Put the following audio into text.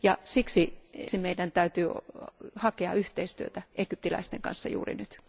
Siksi meidän täytyy hakea yhteistyötä egyptiläisten kanssa juuri nyt.